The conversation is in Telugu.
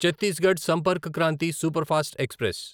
Chhattisgarh Sampark Kranti superfast express